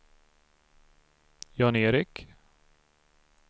Jan-Erik